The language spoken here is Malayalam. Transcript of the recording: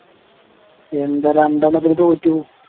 എന്താ രണ്ടെണ്ണത്തിന് തോറ്റു